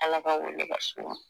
Ala ka wele ka se u ma